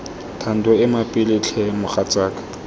thando ema pele tlhe mogatsaka